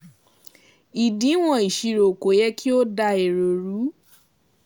Ìdíwọ̀n ìṣirò kò yẹ kí ó dá èrò ru.